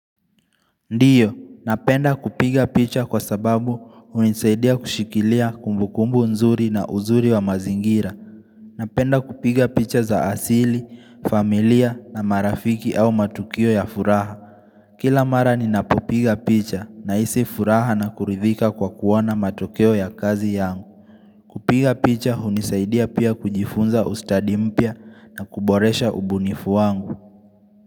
Ndiyo, napenda kupiga picha kwa sababu hunisaidia kushikilia kumbukumbu nzuri na uzuri wa mazingira Napenda kupiga picha za asili, familia na marafiki au matukio ya furaha Kila mara ninapopiga picha nahisi furaha na kuridhika kwa kuona matokeo ya kazi yangu kupiga picha hunisaidia pia kujifunza ustadi mpya na kuboresha ubunifu wangu.